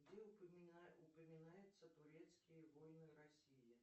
где упоминаются турецкие войны россии